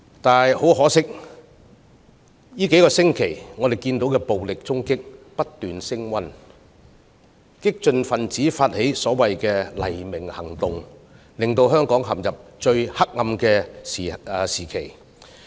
不過，可惜的是，據我們過去數星期所見，暴力衝擊不斷升溫，激進分子發起所謂的"黎明行動"，令香港陷入最黑暗的時期。